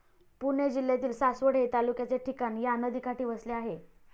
पुणे जिल्ह्यातील सासवड हे तालुक्याचे ठिकाण या नदीकाठी वसले आहे.